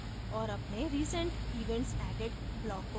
और अपने recent events added block को खोजें